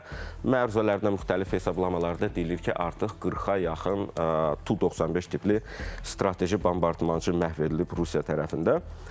və məruzələrdə müxtəlif hesablamalarda deyilir ki, artıq 40-a yaxın Tu-95 tipli strateji bombardmançı məhv edilib Rusiya tərəfində.